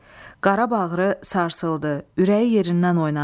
Qara bağrı sarsıldı, ürəyi yerindən oynadı.